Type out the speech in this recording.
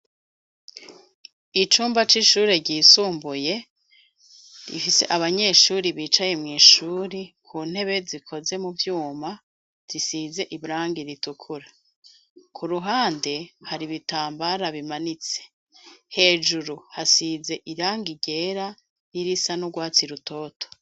Icumba c'ishuri ryisumbuye rifise abanyeshuri bicaye mw'ishuri ku ntebe zikoze mu vyuma zisize ibrangi ritukura ku ruhande hari ibitambara bimanitse hejuru hasize iranga rera n'irisa n'urwatua si rutoto.